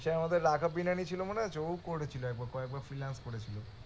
সে আমাদের রাঘাব বিনানি ছিল মনে আছে? ও করেছিল একবার কয়েকবার করেছিল